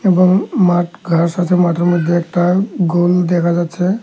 এবং মাঠ ঘাস আছে মাঠের মধ্যে একটা গোল দেখা যাচ্ছে।